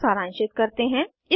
इसको सारांशित करते हैं